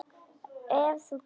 Ef þú kemst?